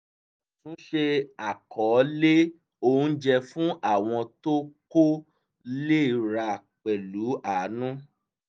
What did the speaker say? àtúnṣe àkọọ́lẹ̀ oúnjẹ fún àwọn tó kò le ra pẹ̀lú àánú